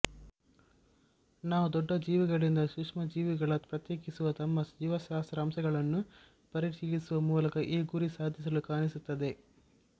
ನಾವು ದೊಡ್ಡ ಜೀವಿಗಳಿಂದ ಸೂಕ್ಷ್ಮಜೀವಿಗಳ ಪ್ರತ್ಯೇಕಿಸುವ ತಮ್ಮ ಜೀವಶಾಸ್ತ್ರ ಅಂಶಗಳನ್ನು ಪರಿಶೀಲಿಸುವ ಮೂಲಕ ಈ ಗುರಿ ಸಾಧಿಸಲು ಕಾಣಿಸುತ್ತದೆ